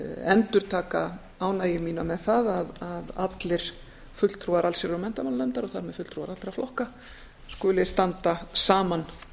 endurtaka ánægju mína með það að allir fulltrúar allsherjar og menntamálanefndar og þar með fulltrúar allra flokka skuli standa saman